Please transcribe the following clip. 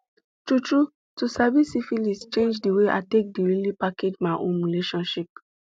true true to sabi syphilis change the way i take the really package my own relationship